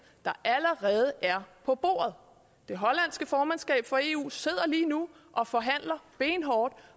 der allerede er på bordet det hollandske formandskab for eu sidder lige nu og forhandler benhårdt